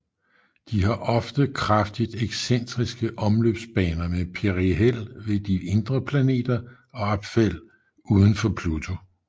De har ofte kraftigt excentriske omløbsbaner med perihel ved de indre planeter og aphel udenfor Pluto